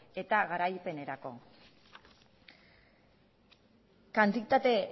eta garapenerako kantitate